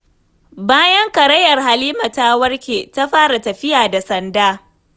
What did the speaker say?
Bayan karayar Halima ta warke, ta fara tafiya da sanda.